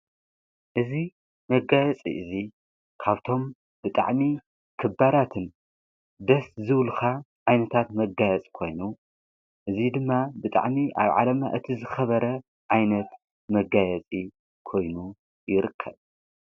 እዙ መነጋየፂ እዙ ካብቶም ብጣዕሚ ኽባራትን ደስ ዝብል መጋየፂ ዓይነታት መጋያጽ ኮይኑ እዙይ ድማ ብጣዕሚ ኣብ ዓለም እቲ ዝኸበረ ዓይነት መጋየፂ ኮይኑ ይርከብ።